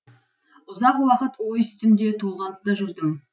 ұзақ уақыт ой үстінде толғаныста жүрдім